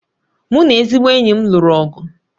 Mụ na ezigbo enyi m lụrụ ọgụ